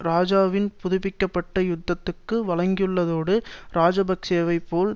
இராஜாவின் புதுப்பிக்க பட்ட யுத்தத்துக்கு வழங்கியுள்ளதோடு இராஜபக்ஷவை போல்